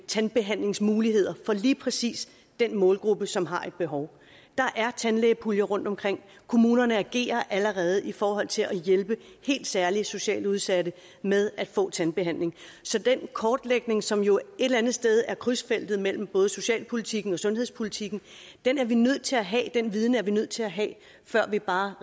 tandbehandlingsmuligheder for lige præcis den målgruppe som har et behov der er tandlægepuljer rundtomkring kommunerne agerer allerede i forhold til at hjælpe helt særlig socialt udsatte med at få tandbehandling så den kortlægning som jo et eller andet sted ligger i krydsfeltet mellem socialpolitikken og sundhedspolitikken er vi nødt til at have den viden er vi nødt til at have før vi bare